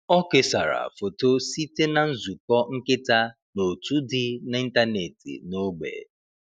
Ọ kesara foto site na nzukọ nkịta n’òtù dị n’ịntanetị n’ógbè.